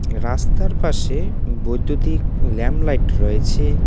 রাস্তার পাশে বৈদ্যুতিক ল্যাম লাইট রয়েছে।